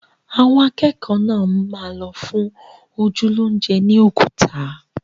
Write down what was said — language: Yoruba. Àwọn akẹ́kọ̀ọ́ náà máa lọ fún ojú lóúnjẹ ni Oguta